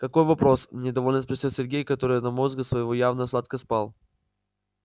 какой вопрос недовольно спросил сергей который до мозга своего явно сладко спал